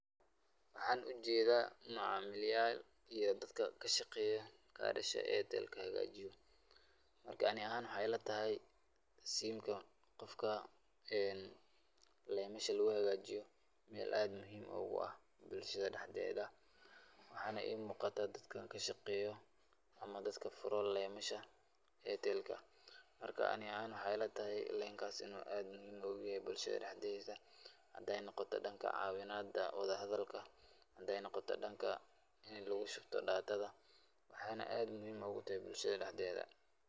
Waxaan ujeeda macamiil yaal iyo dadka kashaqeeyan karasha[Airtel] hagaajiyo, Marka ani ahaan waxeey ila tahay siimka qofka leemasha laga hagaajiyo meel aad muhiim ugu ah bulshada dexdeeda, waxaana ii muuqataa dadkan kashaqeeyo ama dadka furo leemasha [Airtel]ka, marka ani ahaan waxeey ila tahay leenkaas inuu aad muhiim ugu yahay bulshada dexdeeda hadeey noqoto danka caawinada wada hadalka, hadaay noqoto danka in lagu shubto[data],waxaana aad muhiim ugu tahay bulshada dexdeeda.